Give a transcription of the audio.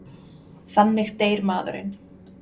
Þannig deyr maðurinn.